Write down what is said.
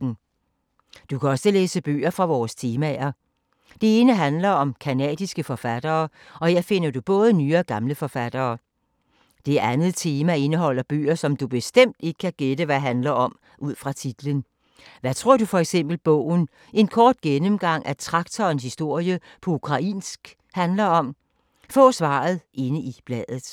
Du kan også læse bøger fra vores temaer. Det ene handler om canadiske forfattere, og her finder du både nye og gamle forfattere. Det andet tema indeholder bøger, som du bestemt ikke kan gætte hvad handler om ud fra titlen. Hvad tror du for eksempel at bogen ”En kort gennemgang af traktorens historie på ukrainsk” handler om? Få svaret inde i bladet.